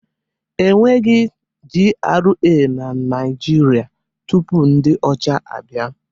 E nweghi GRA na Naịjirịa tupu ndị ọcha abịa.